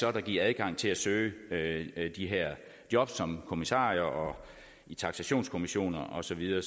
er der giver adgang til at søge de her job som kommissarier og i taksationskommissioner og så videre